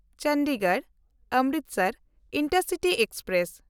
ᱪᱚᱱᱰᱤᱜᱚᱲ–ᱚᱢᱨᱤᱛᱥᱚᱨ intercity express